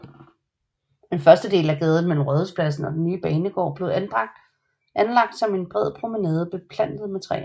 Den første del af gaden mellem Rådhuspladsen og den nye banegård blev anlagt som en bred promenade beplantet med træer